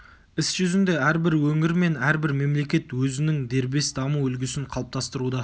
іс жүзінде әрбір өңір мен әрбір мемлекет өзінің дербес даму үлгісін қалыптастыруда